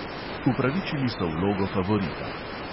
Upravičili so vlogo favorita.